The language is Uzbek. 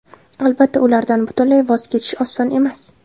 Albatta, ulardan butunlay voz kechish oson emas.